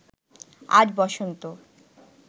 আজ বসন্ত